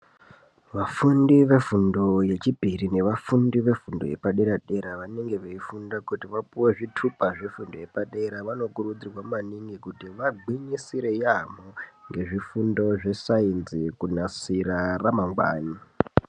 Vafundi vefundo yechipiri nevafundi vefundo yepadera-dera vanenge veifunda kuti vapuwe zvitupa zvefundo yepadera vanokurudzirwa manini kuti vagwinyisire yamo ngezvifundo zveScience kunasira ramangwani.